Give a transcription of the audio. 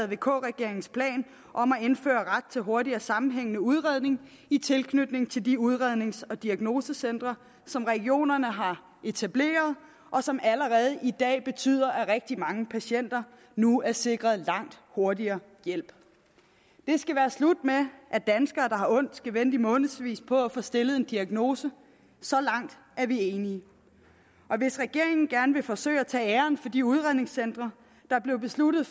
vk regeringens plan om at indføre ret til hurtigere sammenhængende udredning i tilknytning til de udrednings og diagnosecentre som regionerne har etableret og som allerede i dag betyder at rigtig mange patienter nu er sikret langt hurtigere hjælp det skal være slut med at danskere der har ondt skal vente i månedsvis på at få stillet en diagnose så langt er vi enige og hvis regeringen gerne vil forsøge at tage æren for de udredningscentre der blev besluttet